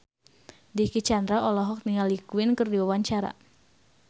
Dicky Chandra olohok ningali Queen keur diwawancara